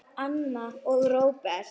Anna og Róbert.